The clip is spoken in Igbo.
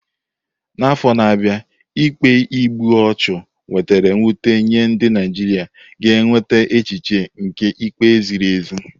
N'afọ na-abịa, ikpe igbu ọchụ wetara mwute nye ndị Naijiria ga-enweta echiche nke ikpe ziri ezi.